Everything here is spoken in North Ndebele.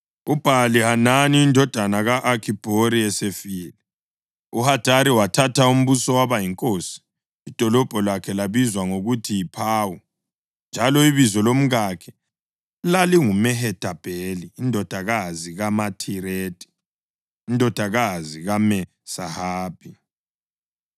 UBhali-Hanani indodana ka-Akhibhori esefile, uHadari wathatha umbuso waba yinkosi. Idolobho lakhe labizwa ngokuthi yiPawu; njalo ibizo lomkakhe lalinguMehethabheli indodakazi kaMathiredi, indodakazi kaMe-Zahabhi.